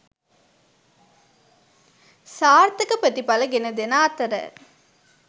සාර්ථක ප්‍රතිඵල ගෙන දෙන අතර